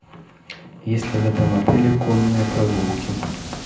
есть ли в этом отеле конные прогулки